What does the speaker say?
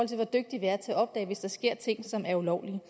til hvor dygtige vi er til at opdage hvis der sker ting som er ulovlige